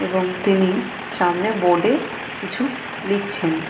এবং তিনি সামনে বোর্ডে কিছু লিখছেন।